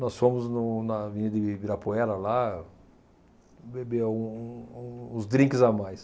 Nós fomos no na vinha de Ibirapuera, lá, beber um um uns drinks a mais.